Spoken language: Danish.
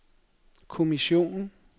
kommissionen